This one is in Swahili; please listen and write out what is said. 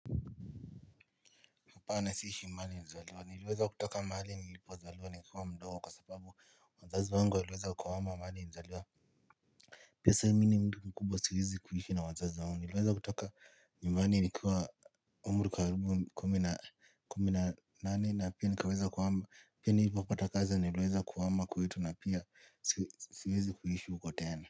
Apana siishi mahali niizaliwa nilieza kutoka mahali nilipozaliwa nikuwa mdogo kwa sababu wazazi wangu walieza kuhama mahali nilizaliwa. Pia sasa mini ni mtu mkubwa siwezi kuishi na wazazi wangu nilieza kutoka nyumbani nikuwa umri karubu kumi na nane na pia nilipopata kazi nilieza kuhama kwetu na pia siwezi kuishi huko tena.